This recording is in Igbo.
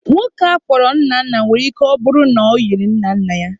Nwoke a kpọrọ Nnanna nwere ike ọ bụrụ na o yiri nna nna ya.